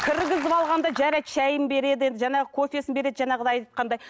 кіргізіп алғанда жарайды шайын береді енді жаңағы кофесін береді жаңағыдай айтқандай